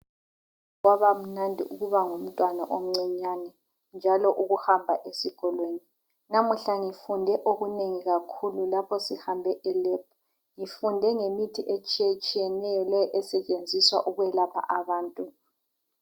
Kwabamnandi ukuba ngumntwana omncinyani njalo ukuhamba esikolweni. Namuhla ngifunde okunengi kakhulu lapho sihambe elebhu. Ngifunde ngemithi etshiyetshiyeneyo le esetshenziswa ukwelapha abantu.